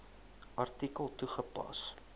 artikel toegepas